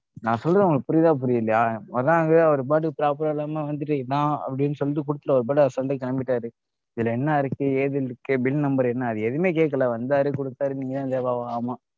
நான் சொல்றது உங்களுக்கு புரியுதா புரியலையா? வராங்க அவர் பாட்டுக்கு proper இல்லாம வந்துட்டு இதான் அப்படின்னு சொல்லிட்டு குடுத்துட்டு அவர் பாட்டு assault ஆ கிளம்பிட்டாரு. இதுல என்ன இருக்கு ஏது இருக்கு bill number என்ன? அது எதுவுமே கேக்கல வந்தாரு கொடுத்தாரு நீங்க